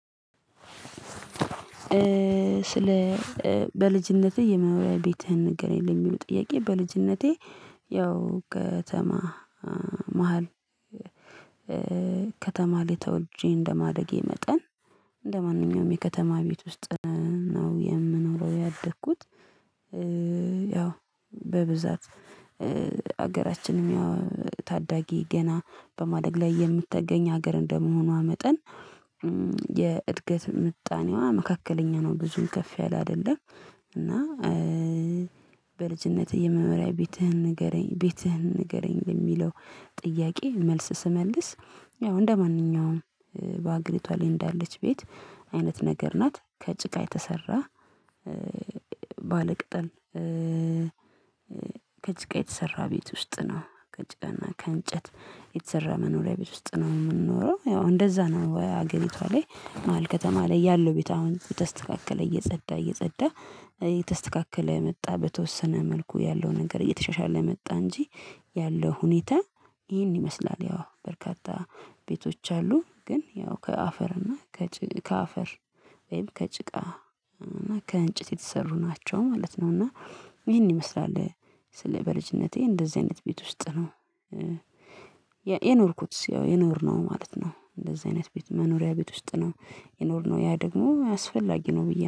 ስለ በልጅነቴ የመኖሪያ ቤትህን ንገረኝ? እንደሚሉ ጥያቄ በልጅነቴ ያው ከተማ መሃል ከተማ ላይ ተወልጄ እንደማደጌ መጠን ለማንኛውም የከተማ ቤት ውስጥ ነው የምኖረው ያደግኩት። ያው በብዛት ሀገራችንም ያው ታዳጊ ገና በማደግ ላይ የምትገኝ ሀገር እንደመሆኗ መጠን የእድገት ምጣኔዋ መካከለኛ ነው ብዙም ከፍ ያለ አይደለም። እና በልጅነትህ የመኖሪያ ቤትህን ንገረኝ ቤትህን ንገረኝ የሚለው ጥያቄ? መልስ ስመልስ ያው እንደማንኛውም በአግሬቷ ላይ እንዳለች ቤት አይነት ነገር ናት። ከጭቃ የተሰራ ባለቅጠል ከጭቃ የተሰራ ቤት ውስጥ ነው ከጭቃና ከእንጨት የተሰራ መኖሪያ ቤት ውስጥ ነው የምንኖረው ያው እንደዛ ነው። አገሪቷ ላይ መዋል ከተማ ላይ ያለው ቤት አሁን የተስተካከለ እየጸዳ እየጸዳ የተስተካከለ መጣ በተወሰነ መልኩ ያለው ነገር እየተሻሻለ መጣ እንጂ ያለው ሁኔታ ይሄን ይመስላል ያው በርካታ ቤቶች አሉ ግን ያው ከአፈር እና ከአፈር ወይም ከጭቃ እና ከእንጭት የተሰሩ ናቸው ማለት ነው። እና ይሄን ይመስላል ስለ በልጅነቴ እንደዚህ አይነት ቤት ውስጥ ነው የኖርኩት ያው የኖርነው ማለት ነው። እንደዚህ አይነት ቤት መኖሪያ ቤት ውስጥ ነው የኖርነው ያ ደግሞ አስፈላጊ ነው። ብዬ